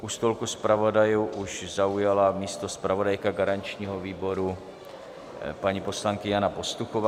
U stolku zpravodajů už zaujala místo zpravodajka garančního výboru, paní poslankyně Jana Pastuchová.